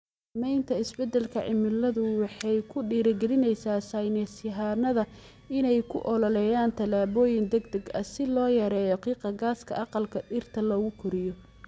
Saamaynta isbeddelka cimiladu waxay ku dhiirigelinaysaa saynisyahannada inay u ololeeyaan tallaabooyin degdeg ah si loo yareeyo qiiqa gaaska aqalka dhirta lagu koriyo.